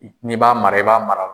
Ni'i b'a mara , i b'a mara